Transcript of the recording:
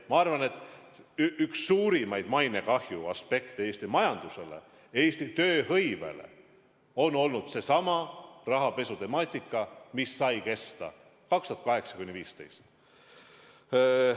Ma arvan, et üks suurimaid mainekahju aspekte Eesti majanduse ja tööhõive puhul on olnud seesama rahapesu, mis sai kesta 2008–2015.